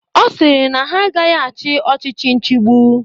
Ọ sịrị na ha agaghị achị ọchịchị nchibu.